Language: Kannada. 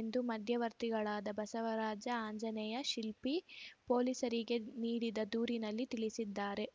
ಎಂದು ಮಧ್ಯವರ್ತಿಗಳಾದ ಬಸವರಾಜ ಆಂಜನೇಯ ಶಿಲ್ಪಿ ಪೊಲೀಸರಿಗೆ ನೀಡಿದ ದೂರಿನಲ್ಲಿ ತಿಳಿಸಿದ್ದಾರೆ